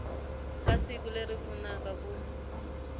ka siku leri pfunaka ku